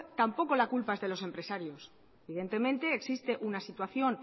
tampoco la culpa es de los empresarios evidentemente existe una situación